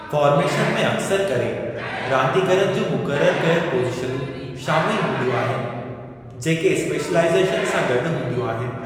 Formation में अक्सरि करे रांदीगरनि जूं मुक़ररु कयल पोज़ीशनूं शामिलु हूंदियूं आहिनि जेके स्पेशलाईज़ेशन सां गॾु हूंदियूं आहिनि।